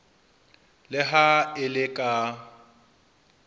le ha e le ka